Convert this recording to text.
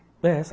É essa mesmo.